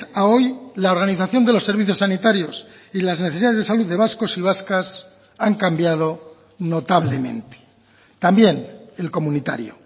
a hoy la organización de los servicios sanitarios y las necesidades de salud de vascos y vascas han cambiado notablemente también el comunitario